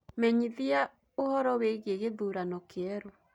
menyithiaũhoro wĩĩgĩe githurano kieru